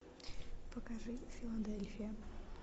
покажи филадельфия